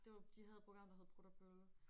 Det var de havde et program der hed prut og pølle